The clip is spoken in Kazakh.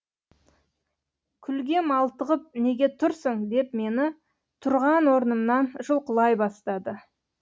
күлге малтығып неге тұрсың деп мені тұрған орнымнан жұлқылай бастады